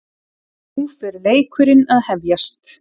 Nú er fer leikurinn að hefjast